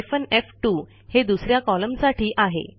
hyphen एफ2 हे दुस या कॉलमसाठी आहे